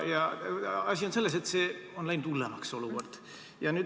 Asi on selles, et see olukord on läinud hullemaks.